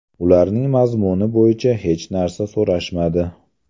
Ularning mazmuni bo‘yicha hech narsa so‘rashmadi”.